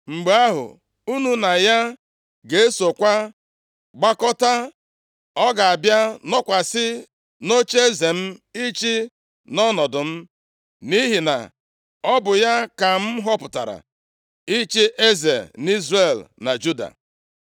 Mgbe ahụ, unu na ya ga-esokwa gbagota, ọ ga-abịa nọkwasị nʼocheeze m ịchị nʼọnọdụ m. Nʼihi na ọ bụ ya ka m họpụtara ịchị eze nʼIzrel na Juda.”